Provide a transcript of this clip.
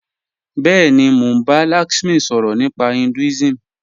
Bẹẹ̀ni, mọ̀ n bá Lakshmi sọrọ̀ nípa Hinduism